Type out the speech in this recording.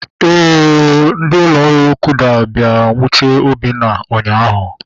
Éè ooo, ndị ụlọ ọrụ kuda bịara nwuchie Obinna ụnyaahụ